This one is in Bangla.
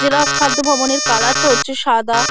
জেলা খাদ্য ভবনের কালারটা হচ্ছে সাদা।